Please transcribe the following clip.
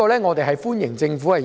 我們歡迎政府在這方面的回應。